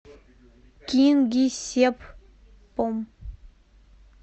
кингисеппом